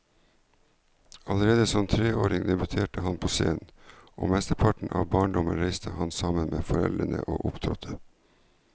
Allerede som treåring debuterte han på scenen, og mesteparten av barndommen reiste han sammen med foreldrene og opptrådte.